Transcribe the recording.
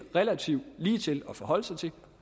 relativt ligetil at forholde sig til